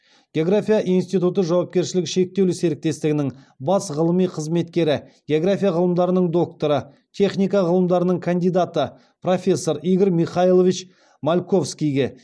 география институты жауапкершілігі шектеулі серіктестігінің бас ғылыми қызметкері география ғылымдарының докторы техника ғылымдарының кандидаты профессор игорь михайлович мальковскийге